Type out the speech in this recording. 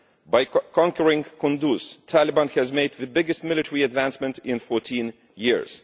By conquering Kunduz, the Taliban has made the biggest military advance in 14 years.